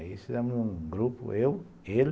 Aí fizemos um grupo, eu, ele,